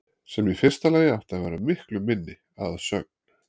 Sem í fyrsta lagi átti að vera miklu minni, að sögn